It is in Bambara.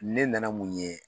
Ne nana mun ye